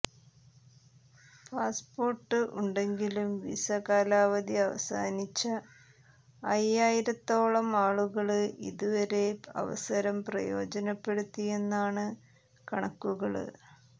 passport ഉണ്ടങ്കിലും visa കാലാവധി അവസാനിച്ച അയ്യായിരത്തോളം ആളുകള് ഇതുവരെ അവസരം പ്രയോജനപ്പെടുത്തിയെന്നാണ് കണക്കുകള്